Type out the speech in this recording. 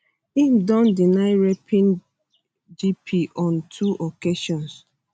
im don deny raping gp on two occasions